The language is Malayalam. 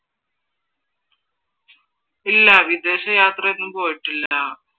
ഇല്ല വിദേശ യാത്രയൊന്നും പോയിട്ടില്ല.